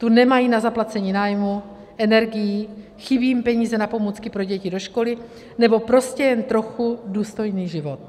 Tu nemají na zaplacení nájmu, energií, chybí jim peníze na pomůcky pro děti do školy nebo prostě jen trochu důstojný život.